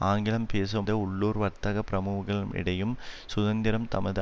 ஆங்கிலம் பேசும் உள்ளூர் வர்த்தக பிரமூகம் இடையும் சுதந்திரம் தமது